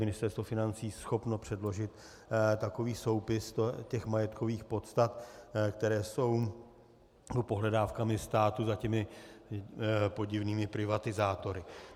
Ministerstvo financí schopno předložit takový soupis těch majetkových podstat, které jsou pohledávkami státu za těmi podivnými privatizátory.